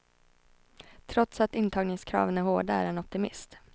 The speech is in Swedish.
Trots att intagningskraven är hårda är han optimist.